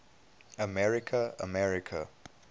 america america